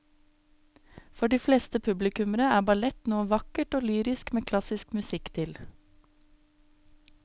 For de fleste publikummere er ballett noe vakkert og lyrisk med klassisk musikk til.